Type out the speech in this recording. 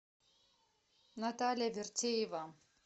наталья вертеева